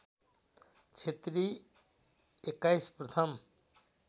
क्षेत्री २१ प्रथम